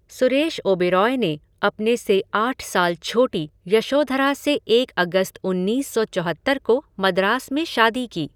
सुरेश ओबेरॉय ने अपने से आठ साल छोटी यशोधरा से एक अगस्त उन्नीस सौ चौहत्तर को मद्रास में शादी की।